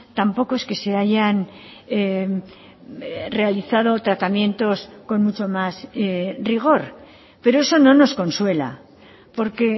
tampoco es que se hayan realizado tratamientos con mucho más rigor pero eso no nos consuela porque